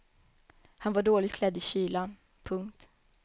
Han var dåligt klädd i kylan. punkt